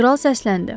Kral səsləndi.